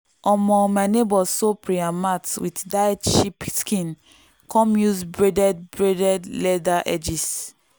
um my neighbor sew prayer mat with dyed sheep skin come use braided braided leather edges.